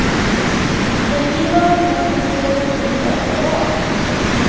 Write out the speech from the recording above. När vi var unga kunde vi åka fort varenda dag.